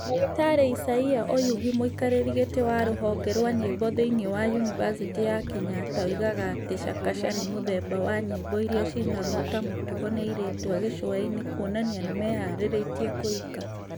Dr Isaiah Oyugi, mwĩkarĩri gĩtĩ wa rũhonge rwa nyĩmbo thĩĩni wa yunibathĩtĩ ya Kenyatta oigaga atĩ Chakacha nĩ mũthemba wa nyĩmbo iria ciinagwo ta mũtugo nĩ airĩtu a gĩcũa-inĩ kũonania nĩ meharĩrĩtie kũhika